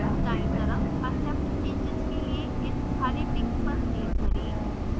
दायीं तरफ accept changes के लिए इस हरे tick पर click करें